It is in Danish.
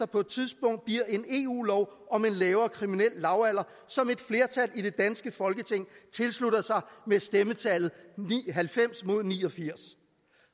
på et tidspunkt bliver en eu lov om en lavere kriminel lavalder som et flertal i det danske folketing tilslutter sig med stemmetallet halvfems mod ni og firs